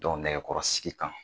nɛgɛkɔrɔsigi kan